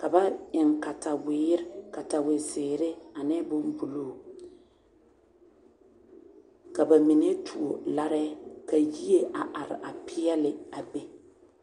ka ba eŋ katawere ka katawe zeree ane boŋ buluu ka bamine tuo larɛɛ ka yie arɛ peɛle a be.